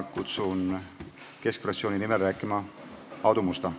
Kutsun Keskerakonna fraktsiooni nimel rääkima Aadu Musta.